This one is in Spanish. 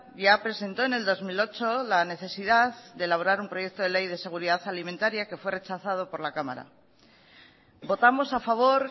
ya presentó en el dos mil ocho la necesidad de elaborar un proyecto de ley de seguridad alimentaría que fue rechazado por la cámara votamos a favor